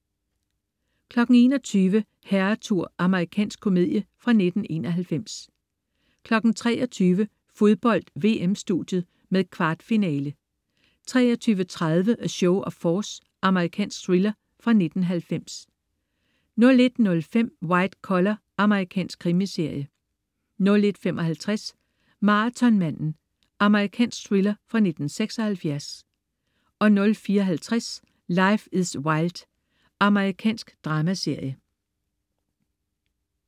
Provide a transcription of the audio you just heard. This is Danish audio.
21.00 Herretur. Amerikansk komedie fra 1991 23.00 Fodbold: VM-studiet med kvartfinale 23.30 A Show of Force. Amerikansk thriller fra 1990 01.05 White Collar. Amerikansk krimiserie 01.55 Marathonmanden. Amerikansk thriller fra 1976 04.50 Life is Wild. Amerikansk dramaserie